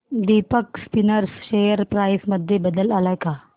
Deepak Spinners share price मध्ये बदल आलाय का